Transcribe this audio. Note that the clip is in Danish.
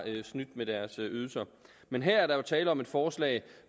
snydt med deres ydelser men her er der jo tale om et forslag